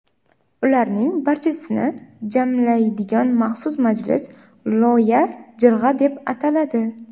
Ularning barchasini jamlaydigan maxsus majlis Loya Jirg‘a deb ataladi.